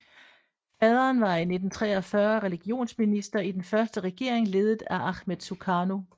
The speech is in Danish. Faderen var i 1945 religionsminister i den første regering ledet af Achmed Sukarno